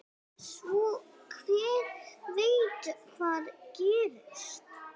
Svo hver veit hvað gerist?